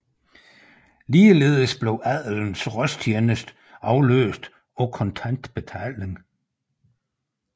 Ligeledes blev adelens rostjeneste afløst af kontant betaling